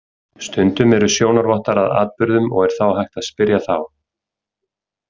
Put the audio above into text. Stundum eru sjónarvottar að atburðum og er þá hægt að spyrja þá.